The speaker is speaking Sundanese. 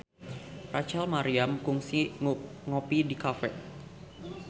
Rachel Maryam kungsi ngopi di cafe